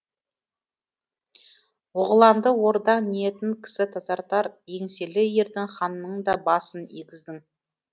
оғыланды ордаң ниетін кісі тазартар еңселі ердің ханның да басын игіздің